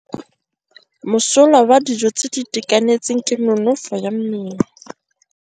Mosola wa dijô tse di itekanetseng ke nonôfô ya mmele.